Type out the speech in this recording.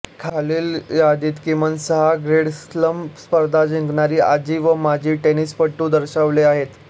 खालील यादीत किमान सहा ग्रॅंड स्लॅम स्पर्धा जिंकणारे आजी व माजी टेनिसपटू दर्शवले आहेत